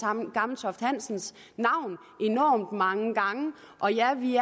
gammeltoft hansens navn enormt mange gange og ja vi